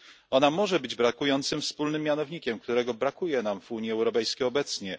Ona może być brakującym wspólnym mianownikiem, którego brakuje nam w Unii Europejskiej obecnie.